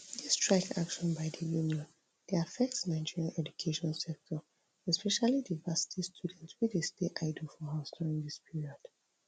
dis strike action by di union dey affect nigeria education sector especially di varsity student wey dey stay idle for house during dis period